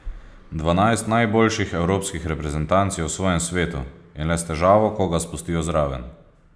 Dvanajst najboljših evropskih reprezentanc je v svojem svetu in le s težavo koga spustijo zraven.